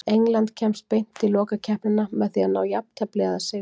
England kemst beint í lokakeppnina með því að ná jafntefli eða sigri.